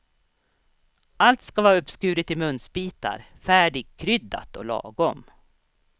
Allt ska vara uppskuret i munsbitar, färdigkryddat och lagom.